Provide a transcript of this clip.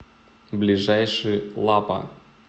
ближайший лапа